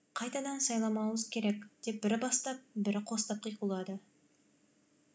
қайтадан сайламауымыз керек деп бірі бастап бірі қостап қиқулады